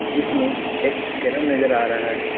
जिसमें एक केरन नजर आ रहा है।